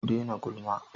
Ku daina gulma!